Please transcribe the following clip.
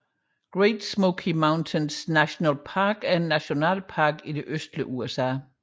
Great Smoky Mountains National Park er en nationalpark i det østlige USA